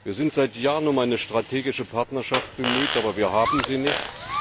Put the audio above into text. Wir sind seit Jahren um eine strategische Partnerschaft bemüht, aber wir haben sie nicht.